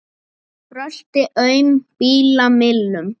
Brölti aum bíla millum.